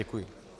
Děkuji.